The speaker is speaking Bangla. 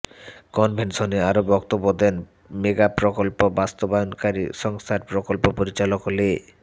কনভেনশনে আরও বক্তব্য দেন মেগাপ্রকল্প বাস্তবায়নকারী সংস্থার প্রকল্প পরিচালক লে